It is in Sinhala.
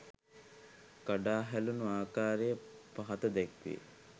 කඩා හැලුණු ආකාරය පහත දැක්වේ.